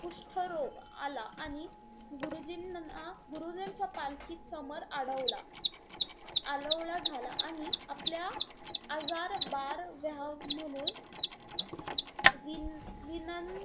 कुष्ट रोग आला आणि गरुजींना गुरुजींच्या समर अडवला. आलोवला झाला, आणि आपला आजार बार व्ह्याव म्हणून विनं,